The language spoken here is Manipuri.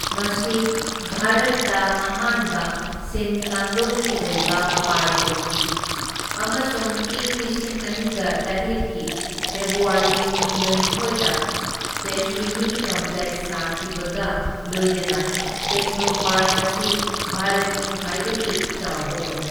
ꯃꯁꯤ ꯚꯥꯔꯠꯇ ꯑꯍꯥꯟꯕ ꯁꯤꯟꯀꯥꯡꯂꯣꯟꯒꯤ ꯑꯣꯏꯕ ꯄꯥꯔꯛ ꯑꯣꯏꯈꯤ ꯑꯃꯁꯨꯡ ꯏꯪ ꯂꯤꯁꯤꯡ ꯑꯅꯤꯒ ꯇꯔꯦꯠꯀꯤ ꯐꯦꯕ꯭ꯔꯨꯋꯥꯔꯤ ꯀꯨꯟꯒꯅꯤꯊꯣꯢꯗ ꯇꯦꯖꯁ꯭ꯋꯤꯅꯤ ꯀꯝꯄ꯭ꯂꯦꯛꯁ ꯁꯪꯒꯥꯈꯤꯕꯒ ꯂꯣꯏꯅꯅ ꯇꯦꯛꯅꯣꯄꯥꯔꯛ ꯑꯁꯤ ꯚꯥꯔꯠꯀꯤ ꯈ꯭ꯋꯥꯏꯗꯒꯤ ꯆꯥꯎꯕ ꯑꯣꯏ꯫